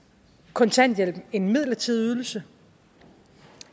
kontanthjælpen en midlertidig ydelse